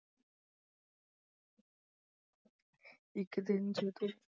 ਇੱਕ ਦਿਨ ਜਦੋਂ